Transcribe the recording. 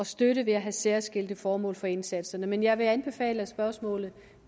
støtte ved at have særskilte formål for indsatserne men jeg vil anbefale at spørgsmålet